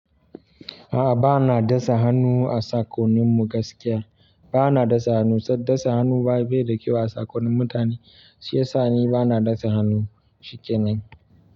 A'a, bana da sa hannu a sakonin mu gaskiya. Ba na dasa hannu, saboda dasa hannu ba yi da kyau a sakonin mutane. Shi yasa ni ba na dasa hannu, shikenan.